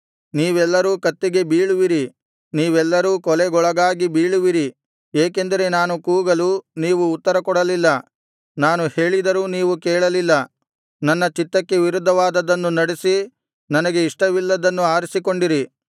ನೀವೆಲ್ಲರೂ ಕತ್ತಿಗೆ ಬೀಳುವಿರಿ ನೀವೆಲ್ಲರೂ ಕೊಲೆಗೊಳಗಾಗಿ ಬೀಳುವಿರಿ ಏಕೆಂದರೆ ನಾನು ಕೂಗಲು ನೀವು ಉತ್ತರಕೊಡಲಿಲ್ಲ ನಾನು ಹೇಳಿದರೂ ನೀವು ಕೇಳಲಿಲ್ಲ ನನ್ನ ಚಿತ್ತಕ್ಕೆ ವಿರುದ್ಧವಾದದ್ದನ್ನು ನಡೆಸಿ ನನಗೆ ಇಷ್ಟವಿಲ್ಲದ್ದನ್ನು ಆರಿಸಿಕೊಂಡಿರಿ